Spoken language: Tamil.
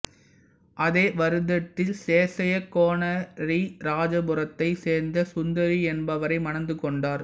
அதே வருடத்தில் சேசையா கோனேரிராஜபுரத்தைச் சேர்ந்த சுந்தரி என்பவரை மணந்து கொண்டார்